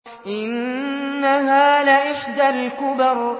إِنَّهَا لَإِحْدَى الْكُبَرِ